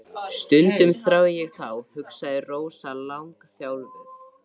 Stundum þrái ég þá, hugsaði Rósa langþjálfuð.